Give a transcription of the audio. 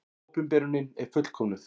Opinberunin er fullkomnuð.